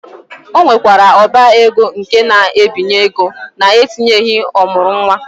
Ọ nwekwara ọba ego nke na-ebinye ego na-etinyeghị ọ mụrụ nwa.